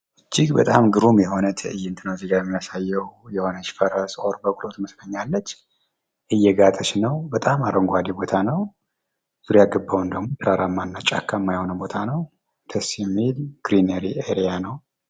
እጅግ በጣም ግሩም የሆነ ትዕይንት ነው እዚህ ጋር የሚያሳየው። የሆነች ፈረስ ወይም በቅሎ ትመስለኛለች እየጋጠች ነው። በጣም አረንጓዴ ቦታ ነው። ዙሪያገባውን ደግሞ ተራራማና ጫካማ ቦታ ነው ደስ የሚል ግሪናል ኤርያ ነው።